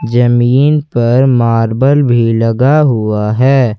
जमीन पर मार्बल भी लगा हुआ है।